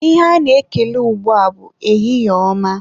Ihe a na-ekele ugbua bụ ehihie ọma.